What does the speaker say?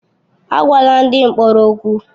Agwala ndị mkpọrọ okwu!